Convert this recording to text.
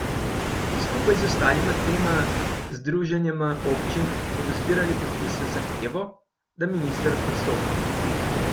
Skupaj z ostalima dvema združenjema občin bodo zbirali podpise z zahtevo, da minister odstopi.